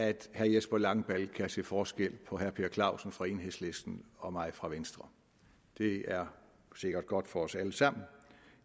at herre jesper langballe kan se forskel på herre per clausen fra enhedslisten og mig fra venstre det er sikkert godt for os alle sammen